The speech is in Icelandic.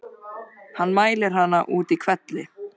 Hann mælir hana út í hvelli.